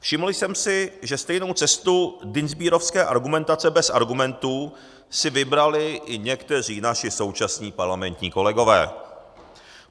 Všiml jsem si, že stejnou cestu dienstbierovské argumentace bez argumentů si vybrali i někteří naši současní parlamentní kolegové.